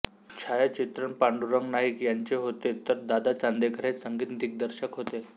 छायाचित्रण पांडुरंग नाईक यांचे होते तर दादा चांदेकर हे संगीत दिग्दर्शक होते